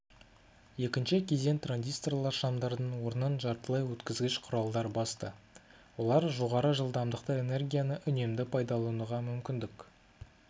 екінші кезең транзисторлар шамдардың орнын жартылайөткізгіш құралдар басты олар жоғары жылдамдықты энергияны үнемді пайдалануға мүмкіндік